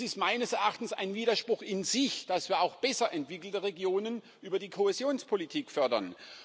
Es ist meines Erachtens ein Widerspruch in sich, dass wir auch besser entwickelte Regionen über die Kohäsionspolitik fördern.